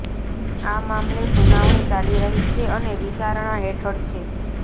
આ મામલે સુનાવણી ચાલી રહી છે અને વિચારણાહેઠળ છે